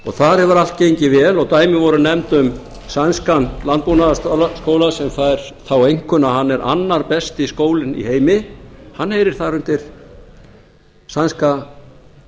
þar hefur allt gengið vel og dæmi voru nefnd um sænskan landbúnaðarskóla sem fær þá einkunn að hann er annar besti skólinn í heimi hann heyrir þar undir sænska